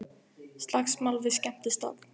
Slagsmál við skemmtistað